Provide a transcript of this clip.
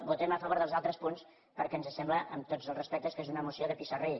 votem a favor dels altres punts perquè ens sembla amb tots els respectes que és una moció de pissarrí